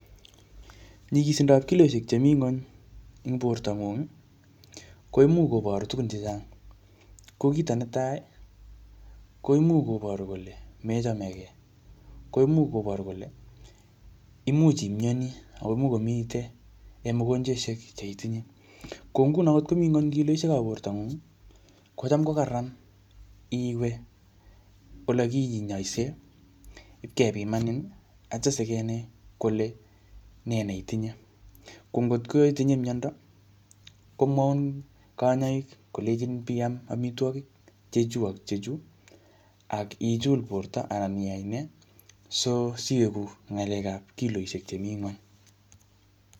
Nyikisindop kiloishek chemii ng'uny eng borto ng'ung, koimuch kobor tugun chechang. Ko kito netai, ko imuch koboru kole mechamegei. Koimuch koboru kole, imuch imyanii akomuch komite en mogonjweshek che itinye. Ko nguno ngot komii nguny kiloishekap borto ngung, kocham ko kararan iwe ole kinyaise, ipkepimanin, atyam sikenai kole nee ne itinye. Ko ngotko itinye miando, komwaun kanyaik kolenjin piam amitwogik chechuu ak chechuu, ak ichul borto anan iyai nee, so siwegu ng'alekap kiloishek chemii ng'uny